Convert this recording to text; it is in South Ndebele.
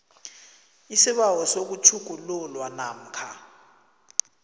isibawo sokutjhugululwa namkha